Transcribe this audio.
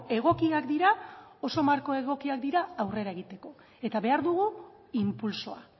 egokiak dira oso marko egokiak dira aurrera egiteko eta behar dugu inpultsoa